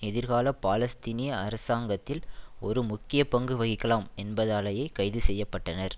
எதிர்கால பாலஸ்தீனய அரசாங்கத்தில் ஒரு முக்கிய பங்கு வகிக்கலாம் என்பதாலேயே கைது செய்ய பட்டனர்